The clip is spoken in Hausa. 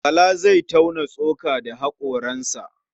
Bala zai tauna tsoka da haƙoransa.